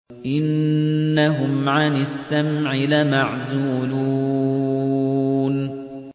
إِنَّهُمْ عَنِ السَّمْعِ لَمَعْزُولُونَ